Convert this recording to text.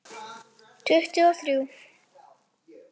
Tuttugu og þrjú!